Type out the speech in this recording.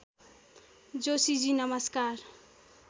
जोशीजी नमस्कार